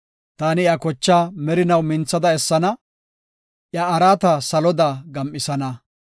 Taani iya kochaa merinaw minthada essana; iya araata saloda gam7isana.”